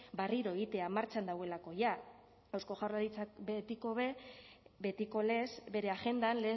barriro egitea martxan dagoelako jada eusko jaurlaritzak betiko be betiko lez bere agendan